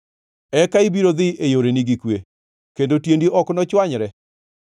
Eka ibiro dhi e yoreni gi kwe kendo tiendi ok nochwanyre;